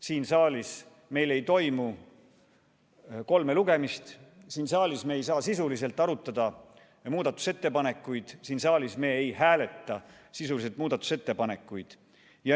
Siin saalis meil ei toimu kolme lugemist, siin saalis me ei saa sisuliselt arutada ja teha muudatusettepanekuid, siin saalis me ei hääleta sisuliselt muudatusettepanekuid.